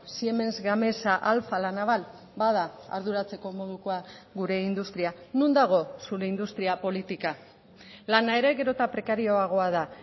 siemens gamesa alfa la naval bada arduratzeko modukoa gure industria non dago zure industria politika lana ere gero eta prekarioagoa da